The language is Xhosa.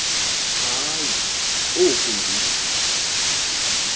hayi oku ndi